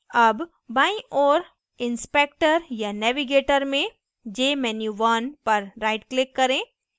अब बाईं ओर inspector या navigator में jmenu1 पर rightclick करें